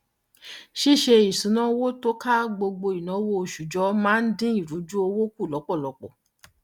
ṣíṣe isunawo tó kà gbogbo ináwó oṣù jọ máa ń dín ìrùjú owó kù lọpọlọpọ